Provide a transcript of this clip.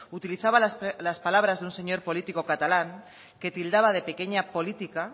utilizaba las palabras de un señor político catalán que tildaba de pequeña política